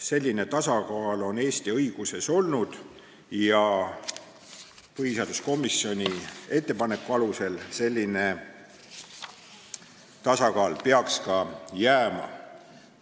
Selline tasakaal on Eesti õiguses seni olnud ja põhiseaduskomisjoni ettepaneku alusel peaks selline tasakaal ka jääma.